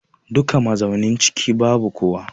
Duka mazaunin ciki babu kowa.